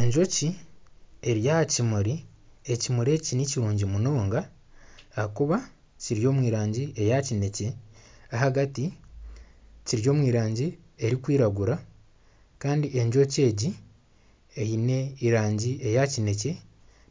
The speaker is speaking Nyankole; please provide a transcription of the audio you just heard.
Enjoki eri aha kimuri, ekimuri eki nikirungi munonga ahakuba kiri omu rangi eya kinekye ahagati kiri omu rangi erikwiragura kandi enjoki egi eine erangi eya kinekye